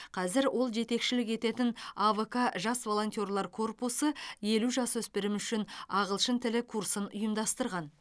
қазір ол жетекшілік ететін авк жас волонтерлар корпусы елу жасөспірім үшін ағылшын тілі курсын ұйымдастырған